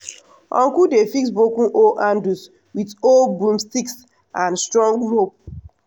uncle dey fix broken hoe handles with old broomsticks and strong rope.